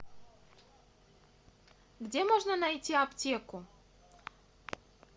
где можно найти аптеку